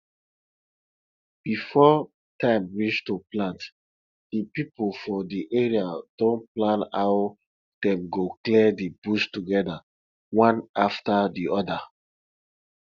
before time reach to plant the people for the area don plan how dem go clear the bush together one after the other